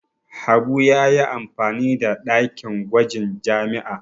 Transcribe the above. Habu ya yi amfani da dakin gwajin jami'a.